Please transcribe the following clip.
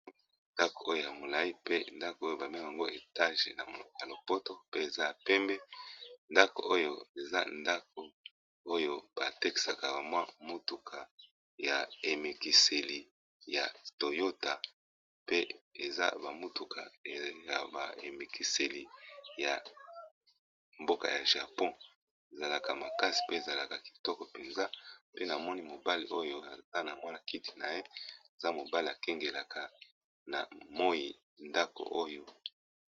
Ndako oyo ya molayi mpe ndako oyo babe ngaka yango etage n'a monoko ya lopoto pe eza ya pembe ndako oyo eza ndako oyo batekisaka bamwa mutuka ya emekiseli ya toyota pe eza bamutuka ya ba emekiseli ya mboka ya japon ezalaka makasi pe ezalaka kitoko mpenza pe na moni mobale oyo ata na mwala kiti na ye eza mobale akengelaka na moyi ndako oyo.